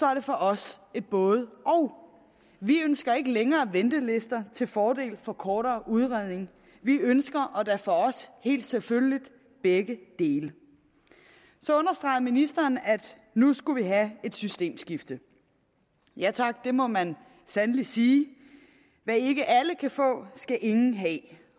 er det for os et både og vi ønsker ikke længere ventelister til fordel for kortere udredning vi ønsker og det er for os helt selvfølgeligt begge dele så understregede ministeren at nu skulle vi have et systemskifte ja tak det må man sandelig sige hvad ikke alle kan få skal ingen have